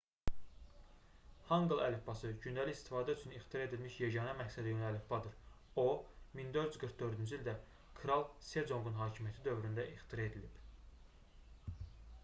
hanqıl əlifbası gündəlik istifadə üçün ixtira edilmiş yeganə məqsədyönlü əlifbadır. o 1444-cü ildə kral seconqun hakimiyyəti dövründə 1418-1450 ixtira edilib